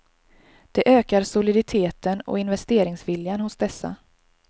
Det ökar soliditeten och investeringsviljan hos dessa.